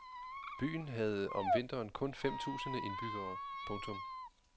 Byen havde om vinteren kun fem tusinde indbyggere. punktum